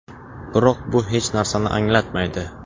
Biroq bu hech narsani anglatmaydi.